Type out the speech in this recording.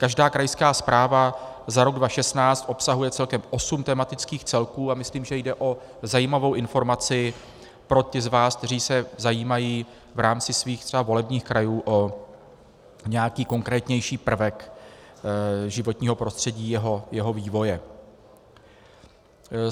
Každá krajská zpráva za rok 2016 obsahuje celkem osm tematických celků a myslím, že jde o zajímavou informaci pro ty z vás, kteří se zajímají v rámci svých třeba volebních krajů o nějaký konkrétnější prvek životního prostředí, jeho vývoje.